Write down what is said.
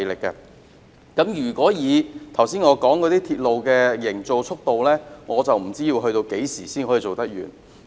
以我剛才所說的鐵路營造速度，不知要到何時才可完成。